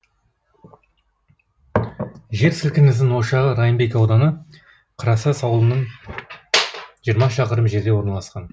жер сілкінісінің ошағы райымбек ауданы қарасаз ауылынан жиырма шақырым жерде орналасқан